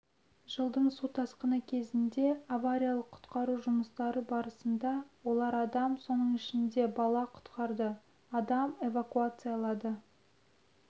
жылдың су тасқыны кезінде авариялық-құтқару жұмыстары барысында олар адам соның ішінде бала құтқарды адам эвакуациялады